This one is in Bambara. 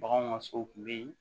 Baganw ka so kun be yen